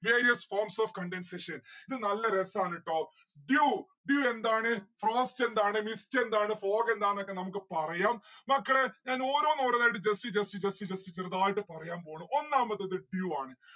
various forms of condensation ഇത് നല്ല രസാണ് ട്ടോ. dew. dew എന്താണ് frost എന്താണ് mist എന്താണ fog എന്താണ് ഒക്കെ നമ്മുക്ക് പറയാം മക്കളെ ഞാൻ ഓരോന്നോരോന്നായിട്ട് just just just just ചെറുതായിട്ട് പറയാൻ പോവാണ് ഒന്നാമത് dew ആണ്